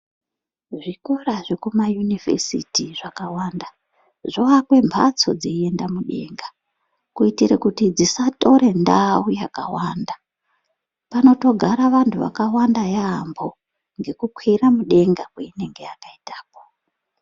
Zvikora zvekumayunivhesiti zvakawanda zvoakwe mbatso dzeienda mudenga. Kuitire kuti dzisatore ndau yakawanda. Panotogara vantu vakawanda yaambo ngekukwira mudenga kweinenge yakaitako.